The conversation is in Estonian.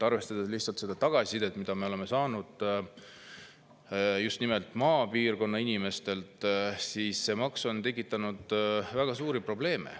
Arvestades seda tagasisidet, mida me oleme saanud just nimelt maapiirkonna inimestelt, see maks on tekitanud väga suuri probleeme.